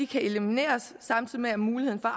kan elimineres samtidig med at muligheden for